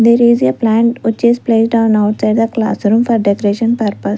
there is a plant which is placed on outside the classroom for decoration purpose.